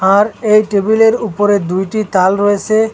আর এই টেবিলের উপরে দুইটি তাল রয়েসে ।